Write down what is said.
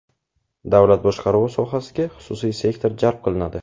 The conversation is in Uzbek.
Davlat boshqaruvi sohasiga xususiy sektor jalb qilinadi.